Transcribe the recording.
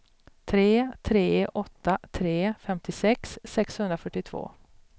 tre tre åtta tre femtiosex sexhundrafyrtiotvå